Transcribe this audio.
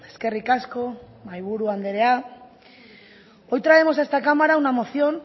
eskerrik asko mahaiburu andrea hoy traemos a esta cámara una moción